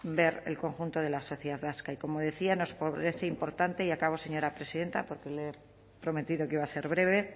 ver el conjunto de la sociedad vasca y como decía nos parece importante y acabo señora presidenta porque le he prometido que iba a ser breve